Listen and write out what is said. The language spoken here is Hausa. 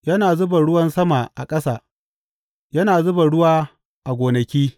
Yana zuba ruwan sama a ƙasa; yana zuba ruwa a gonaki.